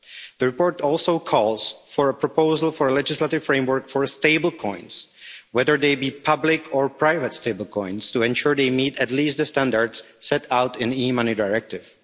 The report also calls for a proposal for a legislative framework for stablecoins, whether they be public or private stablecoins, to ensure they meet at least the standards set out in the E Money Directive.